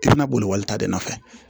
I bɛna boli walita de nɔfɛ